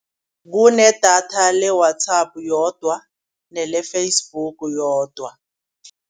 Kunedatha le-WhatsApp yodwa nele-Facebook yodwa.